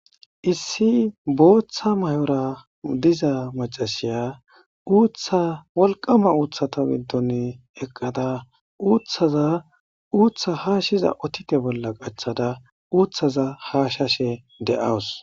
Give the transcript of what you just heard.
Issi booththa mayora diza macasiya uutha walqama uuthata bindon eqqada uuththaza uuththa haashshiza otite bolla qachchada uuththaza haashashe de7awus.